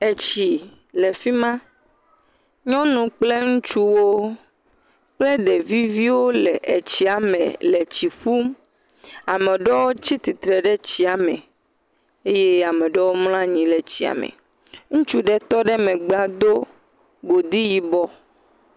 Etsi le fima, nyɔnu kple ŋutsuwo kple ɖevi viwo le etsiame le tsi ƒum, ameɖewo tsi tsitre ɖe tsiame eye ameɖewo mla anyi ɖe tsiame, ŋutsu ɖe tɔ ɖe megba do godi yibɔ.